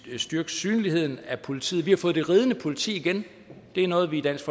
vi styrke synligheden af politiet vi har fået det ridende politi igen det er noget vi i dansk